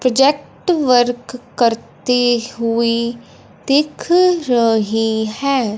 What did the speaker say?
Project work करते हुई दिख रही है।